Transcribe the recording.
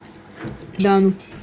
дану